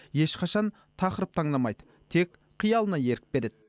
ешқашан тақырып таңдамайды тек қиялына ерік береді